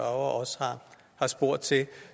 også har spurgt til